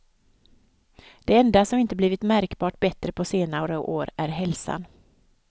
Det enda som inte blivit märkbart bättre på senare år är hälsan.